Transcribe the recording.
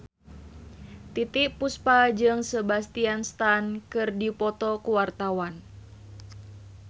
Titiek Puspa jeung Sebastian Stan keur dipoto ku wartawan